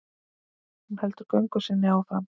Hún heldur göngu sinni áfram.